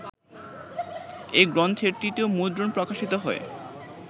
এই গ্রন্থের তৃতীয় মুদ্রণ প্রকাশিত হয়